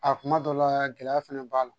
A kuma dɔ la gɛlɛya fɛnɛ b'a la